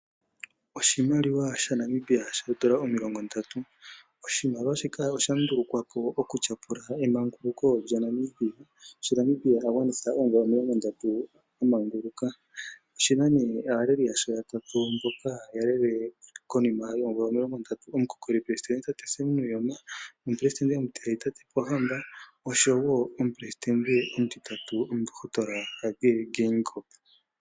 Oshimaliwa shaNamibia shoodola omilongondatu. Oshimaliwa shika osha ndulukwa po okutyapula emanguluko lyaNamibia, shi Namibia a gwanitha oomvula omilongondatu a manguluka. Oshi na nduno aaleli yasho ye li ya tatu mboka ya lele konima yoomvula omilongondatu. Omukokolipelesidente tatekulu Sam Nuujoma, omupelesoidente omutiyali tate Pohamba noshowo omupelesidente omutitatu omundohotola Hage Geingob.